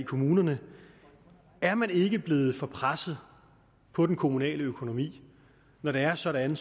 kommunerne er man ikke blevet for presset på den kommunale økonomi når det er sådan